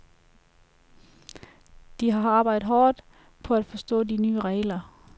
De har arbejdet hårdt på at forstå de nye regler.